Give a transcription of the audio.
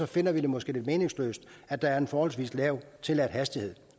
finder vi det måske lidt meningsløst at der er en forholdsvis lav tilladt hastighed